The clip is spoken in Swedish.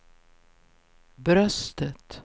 bröstet